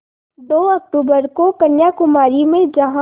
दो अक्तूबर को कन्याकुमारी में जहाँ